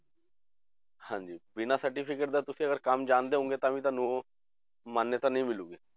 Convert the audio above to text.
ਹਾਂਂਜੀ ਬਿਨਾਂ certificate ਤਾਂ ਤੁਸੀਂ ਅਗਰ ਕੰਮ ਜਾਣਦੇ ਹੋਵੋਂਗੇ ਤਾਂ ਤੁਹਾਨੂੰ ਮਾਨਤਾ ਨਹੀਂ ਮਿਲੇਗੀ।